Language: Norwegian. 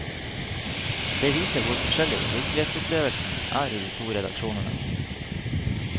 Det viser hvor forskjellig virkelighetsopplevelsen er i de to redaksjonene.